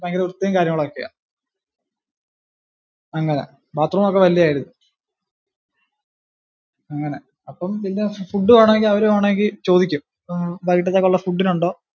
ഭയങ്കര വൃത്തിയും കാര്യങ്ങളും ഒക്കെയാ അങ്ങനെ, bath room ഒക്കെ വലിയയാരുന്നു, അങ്ങനെ അപ്പം പിന്നെ food വേണോങ്കി അവര്‌ വേണോങ്കി ചോദിക്കും വൈകിട്ടത്തേക്കുള്ള food ഇനുണ്ടോ?